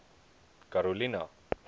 karolina